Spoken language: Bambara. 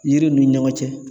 Yiriw ni ɲɔgɔn cɛ